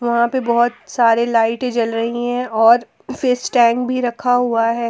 वहां पे बहोत सारे लाइटें जल रही हैं और स्टैंड भी रखा हुआ है।